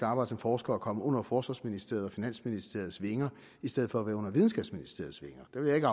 arbejde som forsker og komme under forsvarsministeriets og finansministeriets vinger i stedet for at være under videnskabsministeriets vinger jeg vil ikke